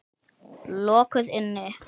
Lokuð inni.